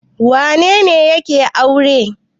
Wane ne yake aure?